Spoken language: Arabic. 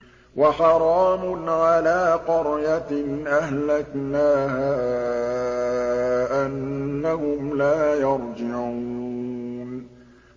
وَحَرَامٌ عَلَىٰ قَرْيَةٍ أَهْلَكْنَاهَا أَنَّهُمْ لَا يَرْجِعُونَ